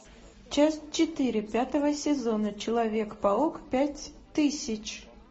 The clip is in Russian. часть четыре пятого сезона человек паук пять тысяч